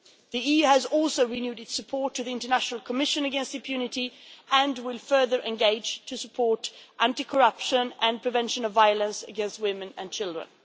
The EU has also renewed its support to the International Commission against Impunity and will further engage to support anti corruption and prevention of violence against women and children.